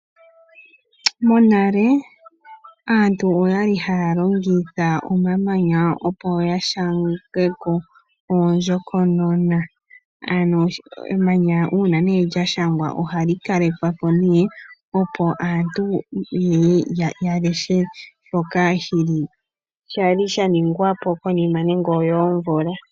Monale aantu oyali haya longitha omamanya opo yashange ko oondjokonona. Ano emanya uuna nee lyashangwa ohali kalekwa po nee, opo aantu yeye yaleshe shoka shali shaningwa po konima nenge oyoomvula.